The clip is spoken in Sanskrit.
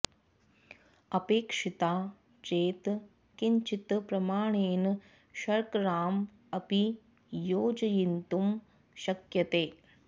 अपेक्षिता चेत् किञ्चित् प्रमाणेन शर्कराम् अपि योजयितुं शक्यते